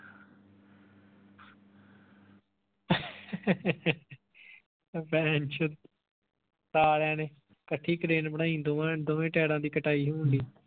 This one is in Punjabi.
ਭੈਨਚੋ ਸਾਲੀਆਂ ਕੱਠੀ crane ਬਣਾਈ ਦੋਵੇਂ ਦੋਵਾਂ ਟੇਰਾਂ ਦੀ ਕਟਾਈ ਹੋਣ ਢਈ